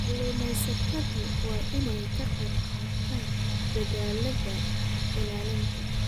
Kalluumaysatadu waa inay ka qaybqaataan dadaallada ilaalinta.